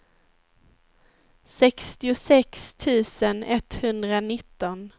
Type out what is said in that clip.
sextiosex tusen etthundranitton